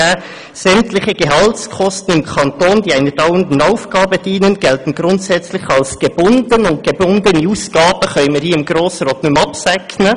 «Sämtliche Gehaltskosten im Kanton, die einer dauernden Aufgabe dienen, gelten grundsätzlich als gebunden.» – Und gebundene Ausgaben können wir hier im Grossen Rat nicht mehr absegnen.